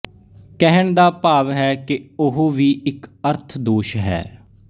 ਕਹਿਣ ਦਾ ਭਾਵ ਹੈ ਕਿ ਉਹ ਵੀ ਇਕ ਅਰਥ ਦੋਸ਼ ਹੈ